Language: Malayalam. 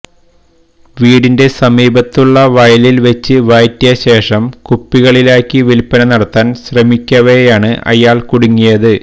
വീടിന്റെ സമീപത്തുള്ള വയലിൽവെച്ച് വാറ്റിയശേഷം കുപ്പികളിലാക്കി വിൽപ്പന നടത്താൻ ശ്രമിക്കവെയാണ് ഇയാൾ കുടുങ്ങിയത്